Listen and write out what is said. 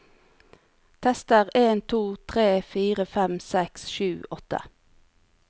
Tester en to tre fire fem seks sju åtte